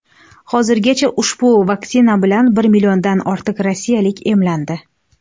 Hozirgacha ushbu vaksina bilan bir milliondan ortiq rossiyalik emlandi .